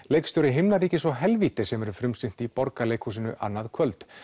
leikstjóri himnaríkis og helvítis sem verður frumsýnt í Borgarleikhúsinu annað kvöld